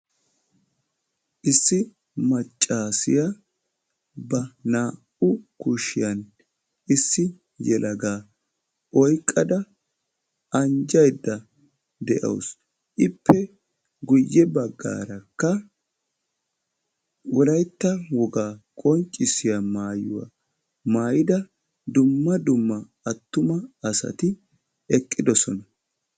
issi maccasiya ba naa"u kushiyani issi yelaga oyqada anjaydda dawusu ippe guyessara wolaytta wogaa maayuwaa maayida dumma dumma assati eqidossona.